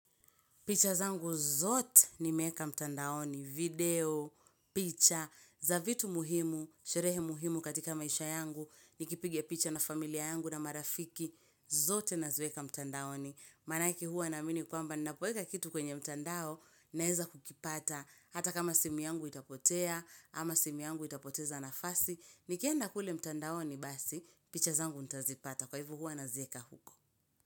Picha zangu zote nimeeka mtandaoni, video, picha, za vitu muhimu, sherehe muhimu katika maisha yangu, nikipigia picha na familia yangu na marafiki, zote naziweka mtandaoni. Maanake huwa naamini kwamba, ninapoeka kitu kwenye mtandao, naeza kukipata, hata kama simu yangu itapotea, ama simu yangu itapoteza nafasi, nikienda kule mtandaoni basi, picha zangu ntazipata, kwa hivyo huwa nazieka huko.